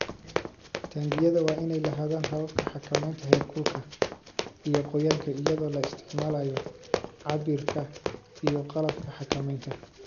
Taangiyada waa inay lahaadaan hababka xakamaynta heerkulka iyo qoyaanka iyadoo la isticmaalayo cabbirka iyo qalabka xakamaynta.